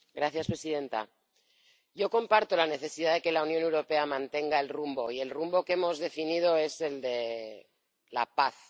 Señora presidenta, yo comparto la necesidad de que la Unión Europea mantenga el rumbo, y el rumbo que hemos definido es el de la paz.